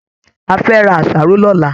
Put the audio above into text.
A fẹ ra àṣàrò l'ọla.